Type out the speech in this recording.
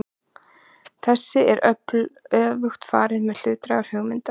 Þessu er öfugt farið með hlutlægar hugmyndir.